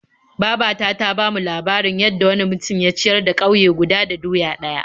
Baba ta ta bamu labarin yadda wani mutum ya da ya ciyar da ƙauye guda da doya ɗaya.